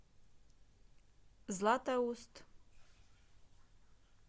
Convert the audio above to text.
златоуст